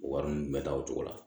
Wari ninnu bɛ ta o cogo la